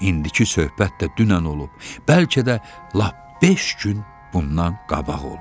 İndiki söhbət də dünən olub, bəlkə də lap beş gün bundan qabaq olub.